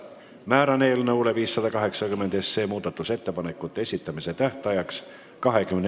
Määran eelnõu 580 muudatusettepanekute esitamise tähtajaks 21. märtsi, minu andmetel kella 16-ni.